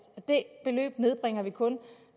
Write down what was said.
det beløb nedbringer vi kun